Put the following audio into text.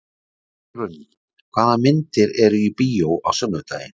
Dýrunn, hvaða myndir eru í bíó á sunnudaginn?